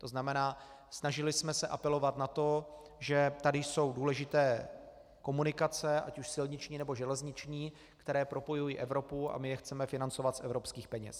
To znamená, snažili jsme se apelovat na to, že tady jsou důležité komunikace ať už silniční, nebo železniční, které propojují Evropu, a my je chceme financovat z evropských peněz.